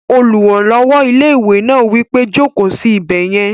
Olùrànlọ́wọ́ ilé-ìwé náà wí pé, "Jòkó sí ibẹ̀ yẹn!"